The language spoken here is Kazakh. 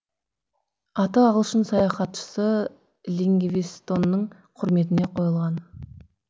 аты ағылшын саяхатшысы ливингстонның құрметіне қойылған